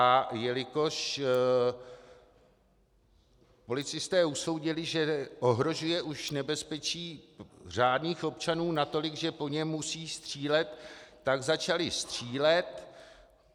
A jelikož policisté usoudili, že ohrožuje už nebezpečí řádných občanů natolik, že po něm musí střílet, tak začali střílet.